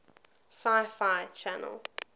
sci fi channel